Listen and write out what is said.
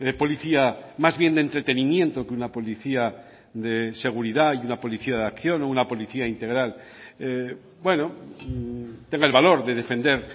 policía más bien de entretenimiento que una policía de seguridad y una policía de acción o una policía integral bueno tenga el valor de defender